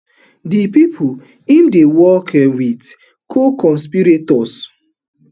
di pipu im dey work um wit co-conspirators